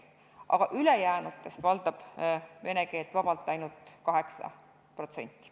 Aga ülejäänutest valdab vene keelt vabalt ainult 8%.